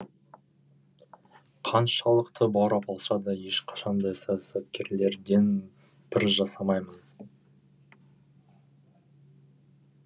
қаншалықты баурап алса да ешқашан да саясаткерлерден пір жасамаймын